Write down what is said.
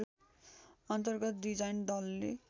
अन्तर्गत डिजाइन दलले